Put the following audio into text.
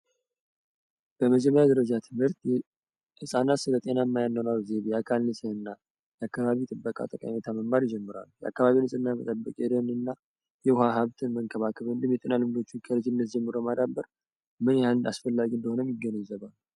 በመጀምሪያ ደረጃ ትምህርት የእፃናት ስለጤና ማያነኗር ዘይቤ የአካንንሲ እና የአከባቢ ጥበቃ ተቀኔታ መማር ይጀምሯል። የአካባቢ ንፅእና መጠበቅ የደን እና የውሃ ሀብትን መንከባክብ እንድም የጤና ልምዶችን የልጅነት ጀምሮ ማዳበር ምን ያህንድ አስፈላጊ እንደሆነም ይገንዘባል።